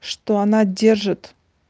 что она держит